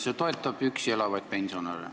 See toetab üksi elavaid pensionäre.